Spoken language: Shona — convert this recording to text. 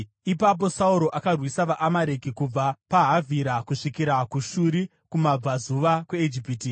Ipapo Sauro akarwisa vaAmareki kubva paHavhira kusvikira kuShuri, kumabvazuva kweIjipiti.